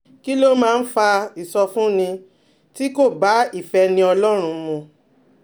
Kí ló máa ń fa ìsọfúnni tí kò bá ìfẹ́ni Ọlọ́run mu?